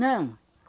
Não.